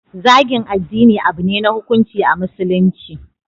Zagin addini abune na hukunci a musulunci